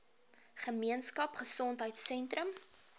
gemeenskap gesondheidsentrum ggs